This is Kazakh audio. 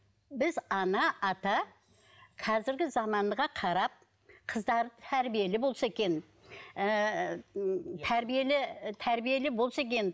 біз ана ата қазіргі заманға қарап қыздарды тәрбиелі болса екен ыыы тәрбиелі тәрбиелі болса екен